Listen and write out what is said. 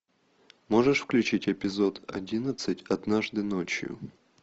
можешь включить эпизод одиннадцать однажды ночью